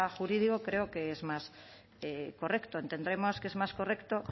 jurídico creo que es más correcto entendemos que es más correcto